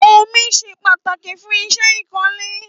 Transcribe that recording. Ómi ṣé pàtáki fùn iṣẹ ikọ̀lé